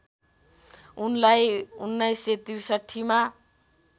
उनलाई १९६३ मा